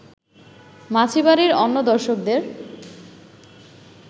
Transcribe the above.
মাছি বাড়ির অন্য দর্শকদের